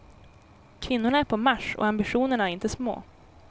Kvinnorna är på marsch, och ambitionerna är inte små.